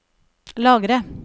lagre